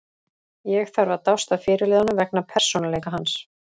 Ég þarf að dást að fyrirliðanum vegna persónuleika hans.